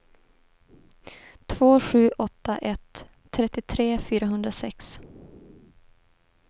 två sju åtta ett trettiotre fyrahundrasex